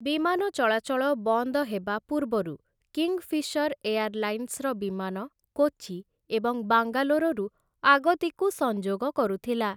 ବିମାନ ଚଳାଚଳ ବନ୍ଦ ହେବା ପୂର୍ବରୁ କିଙ୍ଗ୍‌ଫିସର ଏୟାରଲାଇନ୍ସର ବିମାନ କୋଚି ଏବଂ ବାଙ୍ଗାଲୋରରୁ ଆଗତିକୁ ସଂଯୋଗ କରୁଥିଲା ।